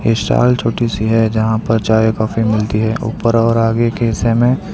stall छोटी सी है जहां पर चाय कॉफी मिलती है ऊपर और आगे के हिस्से में --